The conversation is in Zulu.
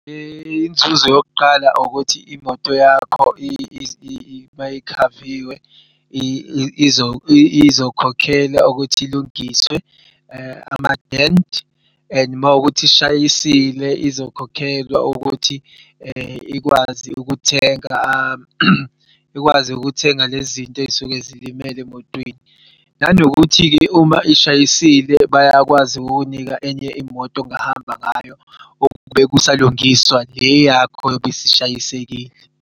Inzuzo yokuqala ukuthi imoto yakho mayikhaviwe izokhokhelwa ukuthi ilungiswe ama-dent and makuwukuthi ishayisile izokhokhelwa ukuthi ikwazi ukuthenga, ikwazi ukuthenga lezi zinto ey'suke zilimele emotweni. Nanokuthi-ke uma ishayisile bayakwazi ukukunika enye imoto ongahamba ngayo okubek'salungiswa le yakho eyob'isishayisekile.